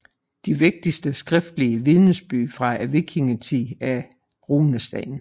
De vigtigste skriftlige vidnesbyrd fra vikingetiden er runesten